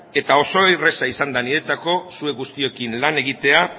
eta oso erraza izan da niretzako zuek guztiokin lan egitea